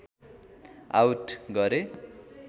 out गरे